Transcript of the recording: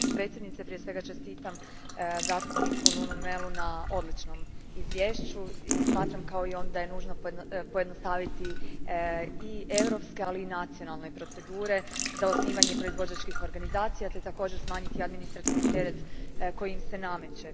Gospođo predsjednice, prije svega čestitam zastupniku Nunu Melu na odličnom izvješću i smatram kao i on da je nužno pojednostaviti europske, ali i nacionalne procedure za osnivanje proizvođačkih organizacija te također smanjiti administrativni teret koji im se nameće.